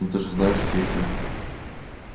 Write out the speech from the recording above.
но ты же знаешь все эти